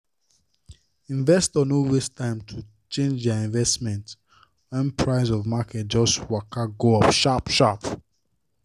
investors no waste time to change their investments when price of market just waka go up sharp sharp.